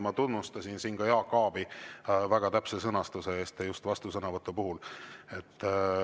Ma tunnustasin siin ka Jaak Aabi väga täpse sõnastuse eest just vastusõnavõtu puhul.